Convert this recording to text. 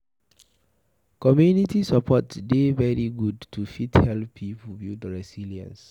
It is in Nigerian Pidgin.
Community support dey very good to fit help pipo build resilience